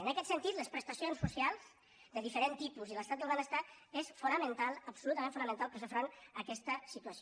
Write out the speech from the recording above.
en aquest sentit les prestacions socials de diferent tipus i l’estat del benestar són fonamentals absolutament fonamentals per fer front a aquesta situació